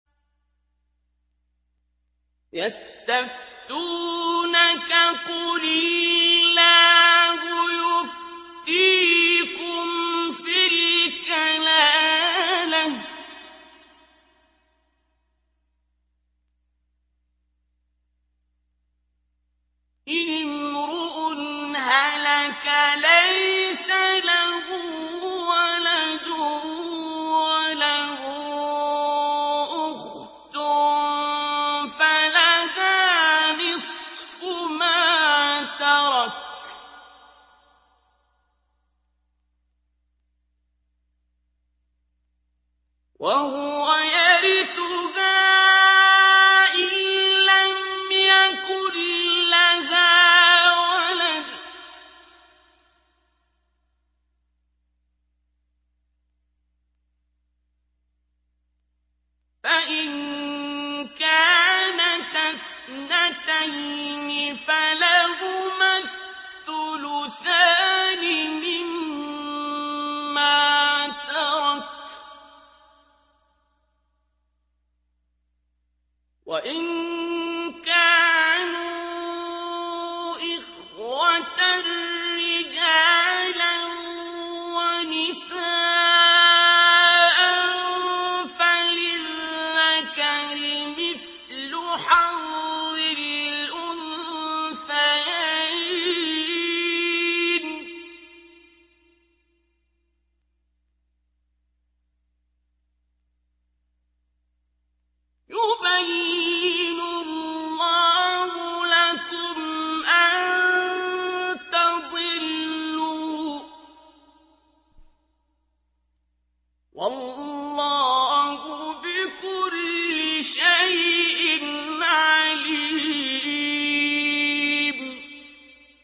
يَسْتَفْتُونَكَ قُلِ اللَّهُ يُفْتِيكُمْ فِي الْكَلَالَةِ ۚ إِنِ امْرُؤٌ هَلَكَ لَيْسَ لَهُ وَلَدٌ وَلَهُ أُخْتٌ فَلَهَا نِصْفُ مَا تَرَكَ ۚ وَهُوَ يَرِثُهَا إِن لَّمْ يَكُن لَّهَا وَلَدٌ ۚ فَإِن كَانَتَا اثْنَتَيْنِ فَلَهُمَا الثُّلُثَانِ مِمَّا تَرَكَ ۚ وَإِن كَانُوا إِخْوَةً رِّجَالًا وَنِسَاءً فَلِلذَّكَرِ مِثْلُ حَظِّ الْأُنثَيَيْنِ ۗ يُبَيِّنُ اللَّهُ لَكُمْ أَن تَضِلُّوا ۗ وَاللَّهُ بِكُلِّ شَيْءٍ عَلِيمٌ